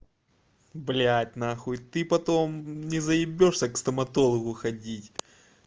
блядь нахуй ты потом не заебёшбся к стоматологу ходить